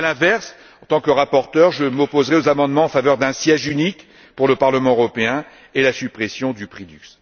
À l'inverse, en tant que rapporteur, je m'opposerai aux amendements en faveur d'un siège unique pour le Parlement européen et de la suppression du prix LUX.